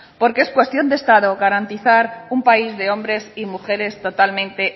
porque es cuestión de estado garantizar un país de hombres y mujeres totalmente